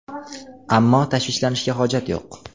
Ammo tashvishlanishga hojat yo‘q.